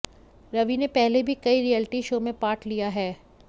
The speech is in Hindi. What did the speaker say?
रवि ने पहले भी कई रियलिटि शो में पार्ट लिया है